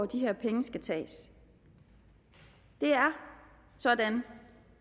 de her penge skal tages det er sådan